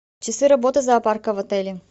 часы работы зоопарка в отеле